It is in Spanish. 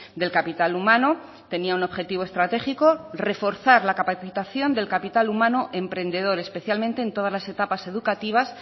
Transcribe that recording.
del capital humano tenía un objetivo estratégico reforzar la capacitación de capital humano emprendedor especialmente en todas las etapas educativas